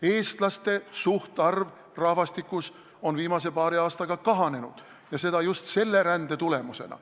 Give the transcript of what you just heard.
Eestlaste suhtarv rahvastikus on viimase paari aastaga kahanenud ja seda just selle rände tulemusena.